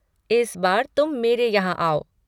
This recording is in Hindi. इस बार तुम मेरे यहाँ आओ।